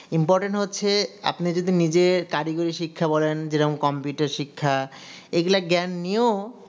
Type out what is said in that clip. importain হচ্ছে আপনি যদি নিজে কারিগরি শিক্ষা বলেন যেরকম coumputer শিক্ষা এইগুলা জ্ঞান নিয়েও